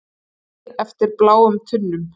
Bið eftir bláum tunnum